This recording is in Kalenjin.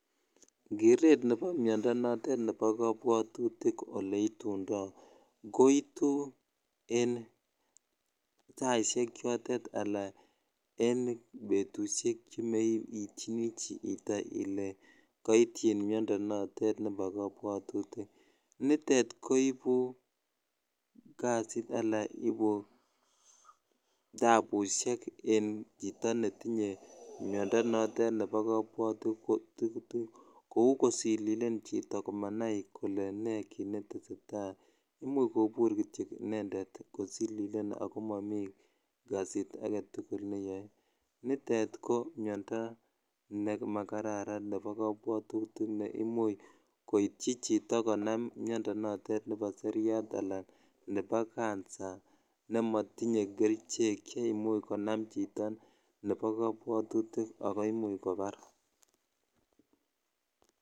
Kereet nebo miondo notet nebo kobwotutik oleitundo koitu en saishek chotet alaan en betushek chemeityini chito ilee koityin miondo notet nebo kobwotutik, nitet koibu kasit alaa ibuu tabushek en chito netinye miondo notet nebo kobwotutik kouu kosililen chito komanai kolee ne kiit neteseta, imuch kobur kitio inendet kosililen ak ko momii kasit aketukul neyoe, nitet ko miondo nemakararan nebo kobwotutik neimuch koityi chito konam miondo notet nebo seriat alaa nebo cancer nemotiye kerichek cheimuch konam chito nebo kobwotutik ak koimuch kobar.